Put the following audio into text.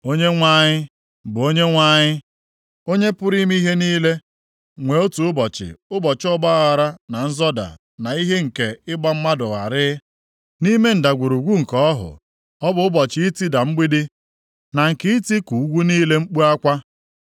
Onyenwe anyị, bụ Onyenwe anyị, Onye pụrụ ime ihe niile, nwee otu ụbọchị ụbọchị ọgbaaghara na nzọda na ihe nke ịgba mmadụ gharịị, nʼime ndagwurugwu nke ọhụ, ọ bụ ụbọchị itida mgbidi na nke itiku ugwu niile mkpu akwa.